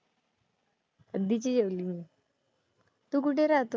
कधीची जेवली मी. तू कुठे राहतो?